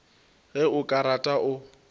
ge o ka rata o